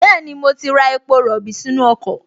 Bẹ́ẹ̀ni, mo ti ra epo rọ̀bì sínú ọkọ̀